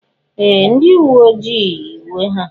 Ee! Ndị uwe ojii yi uwe ha.